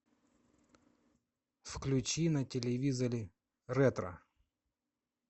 включи на телевизоре ретро